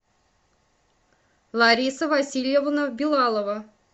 лариса васильевна белалова